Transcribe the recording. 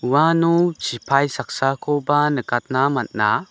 uano sipai saksakoba nikatna man·a.